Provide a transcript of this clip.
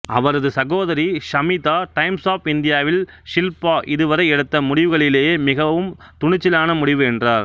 அவரது சகோதரி Shamita Times of இந்தியாவில் ஷில்பா இதுவரை எடுத்த முடிவுகளிலேயே மிகவும் துணிச்சலான முடிவுஎன்றார்